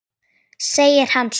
segir hann svo.